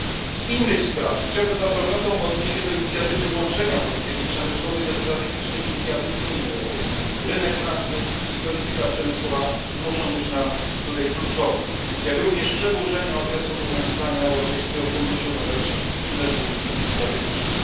Z innych spraw chciałbym z aprobatą odnieść się do inicjatywy włączenia polityki przemysłowej do strategicznych inicjatyw Unii Europejskiej rynek pracy i polityka przemysłowa muszą być tutaj kluczowe jak również przedłużenia okresu obowiązywania Europejskiego Funduszu na rzecz Inwestycji Strategicznych.